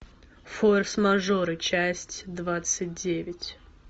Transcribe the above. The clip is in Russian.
форс мажоры часть двадцать девять